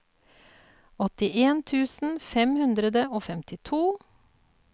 åttien tusen fem hundre og femtito